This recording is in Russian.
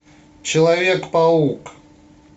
человек паук